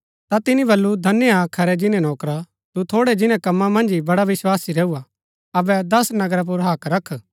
ता तिनि वलु धन्य हा खरै जिन्‍नै नौकरा तु थोड़ै जिन्‍नै कम्मा मन्ज ही बड़ा विस्वासी रैऊ हा अबै दस नगरा पुर हक्क रख